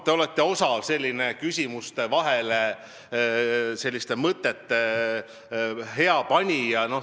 Te olete osav küsimuste vahele selliste mõtete panemises.